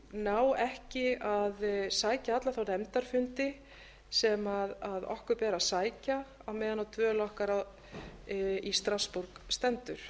ná ekki að sækja alla þá nefndarfundi sem okkur ber að sækja á meðan á dvöl okkar í strassborg stendur